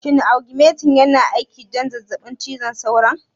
Shin augmentin yana aiki don zazzabin cizon sauron?